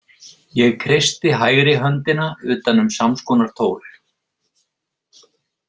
Ég kreisti hægri höndina utan um samskonar tól.